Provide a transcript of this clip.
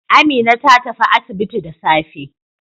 Amina ta tafi asibiti da safe.